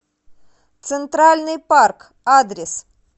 центральный парк адрес